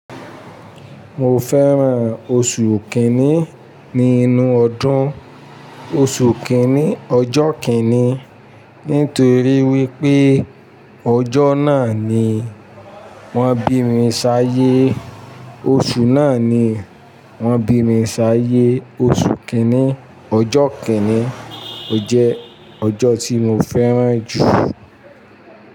Mo fẹ́ran oṣù kìíní nínú ọdún. Oṣù kìíní, ọjọ́ kìíní, nítorí wípé ọjọ́ náà ni wọ́n bí mi ṣáyé. Oṣù náà ni wọ́n bí mi ṣáyé. Oṣù kìíní, ọjọ́ kìíní, ó jẹ́ ọjọ́ tí mo fẹ́ran jù.